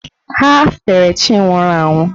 Ha fere chi nwụrụ anwụ.